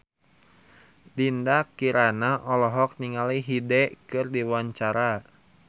Dinda Kirana olohok ningali Hyde keur diwawancara